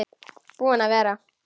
Búinn að vera.